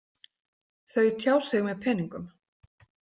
Þau tjá sig með peningum.